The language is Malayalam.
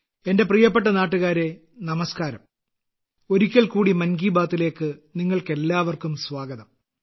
എന്റെ പ്രിയപ്പെട്ട നാട്ടുകാരേ നമസ്കാരം ഒരിക്കൽ കൂടി മൻ കി ബാത്തിൽ നിങ്ങൾക്കെല്ലാവർക്കും സ്വാഗതം